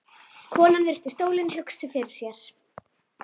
Konan virti stólinn hugsi fyrir sér.